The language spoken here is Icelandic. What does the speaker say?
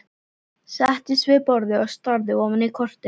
Settist við borðið og starði ofan í kortið.